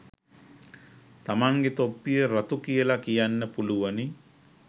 තමන්ගෙ තොප්පිය රතු කියල කියන්න පුළුවනි